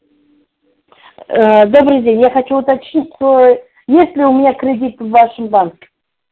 э добрый день я хочу уточнить э есть ли у меня кредит в вашем банке